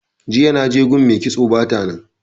Jiya naje gun mai kitso bata nan.